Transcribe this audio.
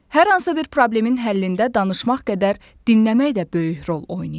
Hər hansı bir problemin həllində danışmaq qədər dinləmək də böyük rol oynayır.